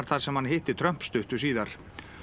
þar sem hann hitti Trump stuttu síðar